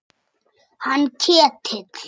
Hann Ketil?